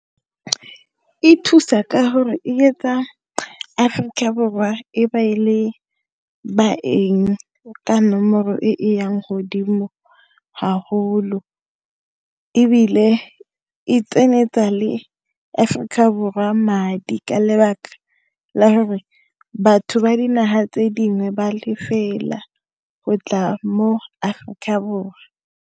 E thusa ka gore e etsa Aforika Borwa e ba e le baeng ka nomoro e yang godimo haholo ebile e tsenyetsa le Aforika Borwa madi ka lebaka la gore batho ba dinaga tse dingwe ba lefela go tla mo Aforika Borwa.